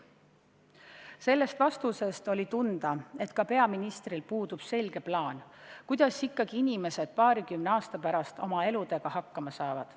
" Sellest vastusest oli tunda, et ka peaministril puudub selge plaan, kuidas inimesed paarikümne aasta pärast oma eluga hakkama saavad.